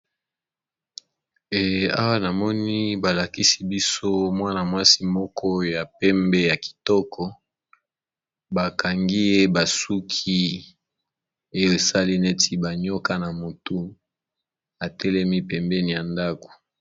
awa na moni balakisi biso mwana-mwasi moko ya pembe ya kitoko bakangi ye basuki oyo esali neti banioka na motu atelemi pembeni ya ndako